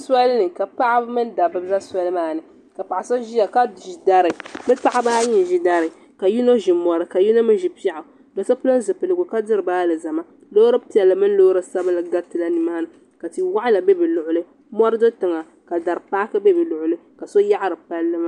Solini ka Paɣaba mini dabba za soli maani paɣa so ʒiya ka ʒi dari bɛ paɣaba ayi n ʒi dari ka yino ʒi mɔri ka yino mi ʒi piɛɣu do so pili zipiligu diri ba alizama loori piɛlli mini loori sabinli gariti la nimaa ni ka ti waɣila be bi luɣuli mɔri do tiŋa ka dari paaki be bɛ luɣuli ka so yaɣari palli maa.